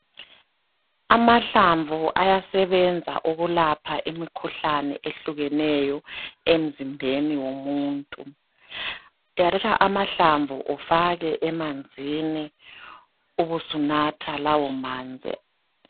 Amahlamvu ayasebenza ukulapha imikhuhlane ehlukeneyo emzimbeni womuntu. Uyathatha amahlamvu ufake emanzini ubusunatha lawomanzi